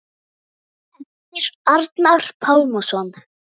eftir Arnar Pálsson